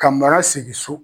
Ka mara segin so.